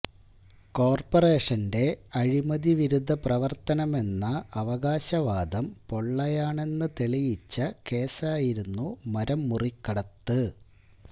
കോര്പ്പറേഷന്റെ അഴിമതിവിരുദ്ധ പ്രവര്ത്തനമെന്ന അവകാശവാദം പൊള്ളയാണെന്ന് തെളിയിച്ച കേസായിരുന്നു മരം മുറികടത്ത്